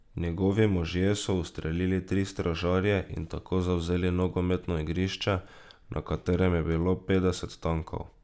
Njegovi možje so ustrelili tri stražarje in tako zavzeli nogometno igrišče, na katerem je bilo petdeset tankov.